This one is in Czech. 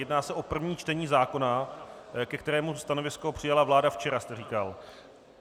Jedná se o první čtení zákona, ke kterému stanovisko přijala vláda včera, jste říkal.